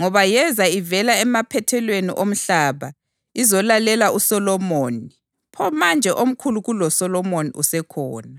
ngoba yeza ivela emaphethelweni omhlaba izolalela uSolomoni; pho manje omkhulu kuloSolomoni usekhona.